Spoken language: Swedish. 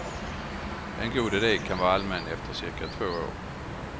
En god ide kan vara allmän efter cirka två år.